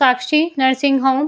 Sakshi nursing home --